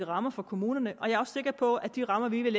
rammer for kommunerne og jeg er også sikker på at de rammer vi vil